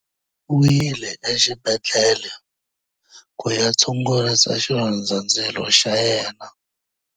U yile exibedhlele ku ya tshungurisa xilondzandzilo xa yena.